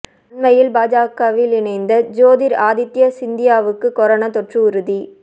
அண்மையில் பாஜகவில் இணைந்த ஜோதிர் ஆதித்ய சிந்தியாவுக்கு கொரோனா தொற்று உறுதி